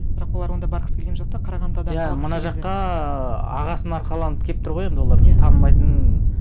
бірақ олар онда барғысы келген жоқ та қарағандыда иә мына жаққа ы ағасын арқаланып келіп тұр ғой енді олар танымайтын